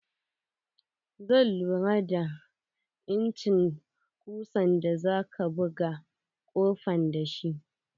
Zai lura da incin kusan da zaka buga kofan da shi.